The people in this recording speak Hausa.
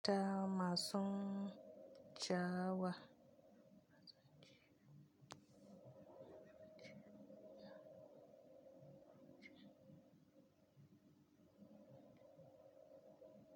Da masun java.